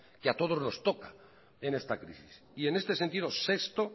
que a todos nos toca en esta crisis y en este sentido sexto